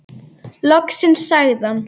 Loksins sagði hann.